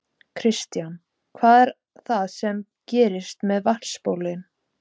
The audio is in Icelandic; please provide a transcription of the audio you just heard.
Kristján: Hvað er það sem gerist með vatnsbólin?